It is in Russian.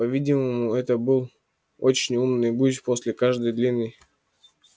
по-видимому это был очень умный гусь после каждой длинной